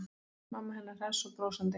Mamma hennar hress og brosandi.